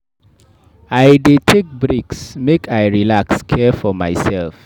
I dey take breaks make I relax care for mysef.